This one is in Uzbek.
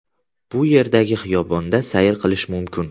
Bu yerdagi xiyobonda sayr qilish mumkin.